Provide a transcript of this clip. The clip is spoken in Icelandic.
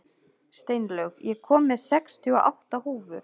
Steinlaug, ég kom með sextíu og átta húfur!